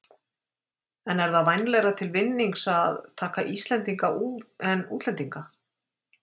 En er það vænlegra til vinnings að taka Íslendinga en útlendinga?